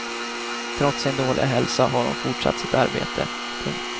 Trots sin dåliga hälsa har hon fortsatt sitt arbete. punkt